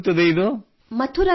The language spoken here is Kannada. ಎಲ್ಲಿ ಬರುತ್ತದೆ ಇದು